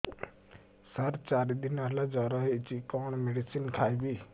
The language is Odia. ସାର ଚାରି ଦିନ ହେଲା ଜ୍ଵର ହେଇଚି କଣ ମେଡିସିନ ଖାଇବି